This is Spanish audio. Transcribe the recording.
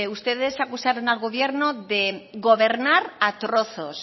ustedes acusaron al gobierno de gobernar a trozos